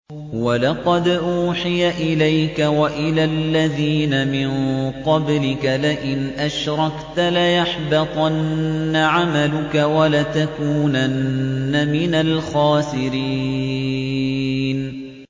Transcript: وَلَقَدْ أُوحِيَ إِلَيْكَ وَإِلَى الَّذِينَ مِن قَبْلِكَ لَئِنْ أَشْرَكْتَ لَيَحْبَطَنَّ عَمَلُكَ وَلَتَكُونَنَّ مِنَ الْخَاسِرِينَ